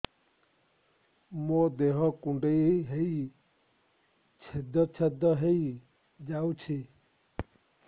ମୋ ଦେହ କୁଣ୍ଡେଇ ହେଇ ଛେଦ ଛେଦ ହେଇ ଯାଉଛି